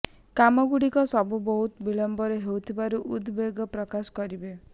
କାମ ଗୁଡିକ ସବୁ ବହୁତ ବିଳମ୍ବରେ ହେଉଥିବାରୁ ଉଦ୍ ବେଗ ପ୍ରକାଶ କରିବେ